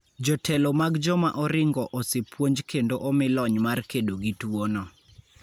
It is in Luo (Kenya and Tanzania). Jotelo mag joma oringo osepuonj kendo omi lony mar kedo gi tuono.